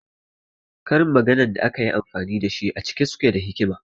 Karin maganan da akayi amfani dashi a da cike suke da hikima